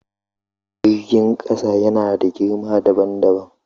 Jirgin ƙasa yana da girma dabam dabam.